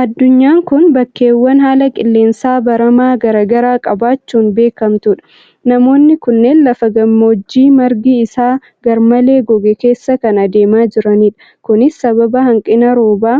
Addunyaan kun bakkeewwan haala qilleensa baramaa garaa garaa qabaachuudhaan beekamtudha. Namoonni kunneen lafa gammoojjii margi isaa garmalee goge keessaa kan adeemaa jiranidha. Kunis sababa hanqina rooba